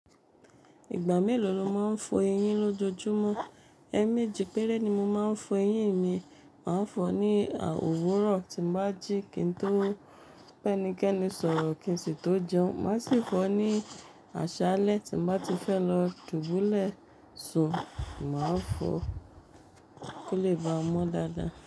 Ìgbà mélòó lo máa ń fọ eyín lójojúmọ́? Ẹ méjì péré ni mo máa ń fọ eyín mi. Màá fọ ní òwúrọ̀ tí n bá jí, kí n tó bẹ́nikẹ́ni sọ̀rọ̀ kí n sì tó jẹun. Màá sì fọ ní àṣálẹ́ tí mo bá ti fẹ́ lọ dubulẹ́ sùn, màá fọ kó lè ba mọ́ dáadáa.